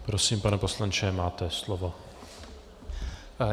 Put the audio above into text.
Prosím, pane poslanče, máte slovo.